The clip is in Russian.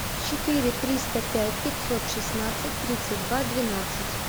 четыре триста пять пятьсот шестнадцать тридцать два двенадцать